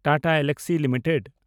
Tata Elxsi limited